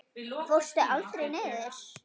Fórstu aldrei niður?